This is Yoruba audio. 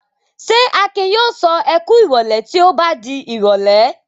Ṣé Akin yóò sọ "ẹ kú ìrọ́lẹ́" tí ó bá di ìrọ́lẹ́?